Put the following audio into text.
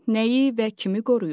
Nəyi və kimi qoruyur?